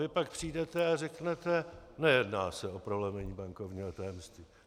Vy pak přijdete a řeknete: Nejedná se o prolomení bankovního tajemství.